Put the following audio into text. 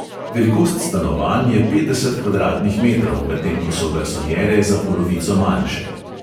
Velikost stanovanj je petdeset kvadratnih metrov, medtem ko so garsonjere za polovico manjše.